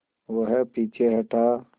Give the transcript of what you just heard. वह पीछे हटा